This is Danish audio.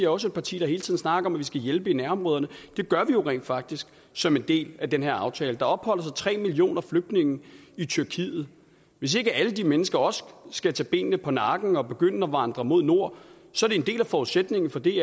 også et parti der hele tiden snakker om at vi skal hjælpe i nærområderne og det gør vi jo rent faktisk som en del af den her aftale der opholder sig tre millioner flygtninge i tyrkiet hvis ikke alle de mennesker også skal tage benene på nakken og begynde at vandre mod nord er en del af forudsætningen for det